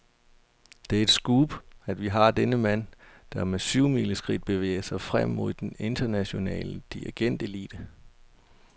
Det er et scoop, at vi har denne mand, der med syvmileskridt bevæger sig frem mod den internationale dirigentelite.